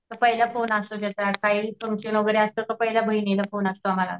तर पहिला फोन काही टेन्शन वगैरे असलं तर पहिला बहिणीला फोन असतो आम्हाला.